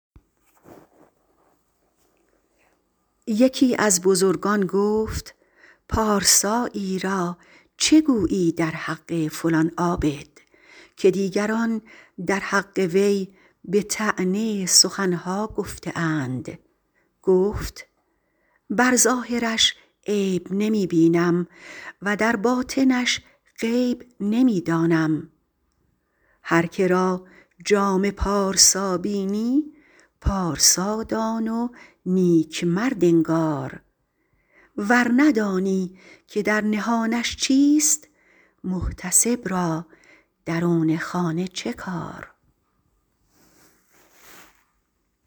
یکی از بزرگان گفت پارسایی را چه گویی در حق فلان عابد که دیگران در حق وی به طعنه سخن ها گفته اند گفت بر ظاهرش عیب نمی بینم و در باطنش غیب نمی دانم هر که را جامه پارسا بینی پارسا دان و نیک مرد انگار ور ندانی که در نهانش چیست محتسب را درون خانه چه کار